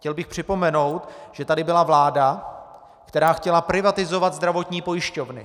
Chtěl bych připomenout, že tady byla vláda, která chtěla privatizovat zdravotní pojišťovny.